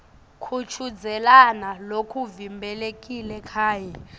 kuchudzelana lokuvimbelekile kanye